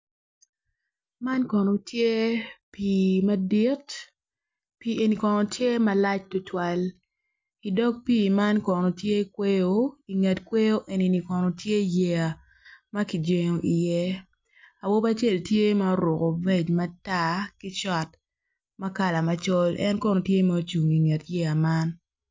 man kono tye pii madit pii eni kono tye malac tutwal idog pii man kono tye kweyo i nget kweyo eni kono tye yeya ma ki jengo iye awobi acel tye ma ourku fec matar ki cot ma kala macol en kono tye ma ocung inget yeya man